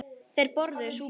Þeir borðuðu súpu.